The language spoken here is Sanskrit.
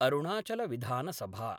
अरुणाचलविधानसभा